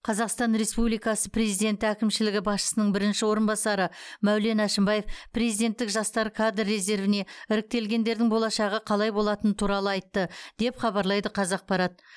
қазақстан республикасы президенті әкімшілігі басшысының бірінші орынбасары мәулен әшімбаев президенттік жастар кадр резервіне іріктелгендердің болашағы қалай болатыны туралы айтты деп хабарлайды қазақпарат